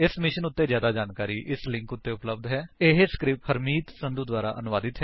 ਇਸ ਮਿਸ਼ਨ ਉੱਤੇ ਜਿਆਦਾ ਜਾਣਕਾਰੀ ਨਿਮਨ ਲਿੰਕ ਉੱਤੇ ਉਪਲੱਬਧ ਹੈ ਇਹ ਸਕਰਿਪਟ ਹਰਮੀਤ ਸੰਧੂ ਦੁਆਰਾ ਅਨੁਵਾਦਿਤ ਹੈ